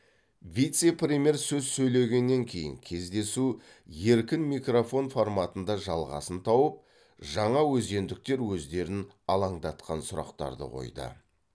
вице премьер сөз сөйлегеннен кейін кездесу еркін микрофон форматында жалғасын тауып жаңаөзендіктер өздерін алаңдатқан сұрақтарды қойды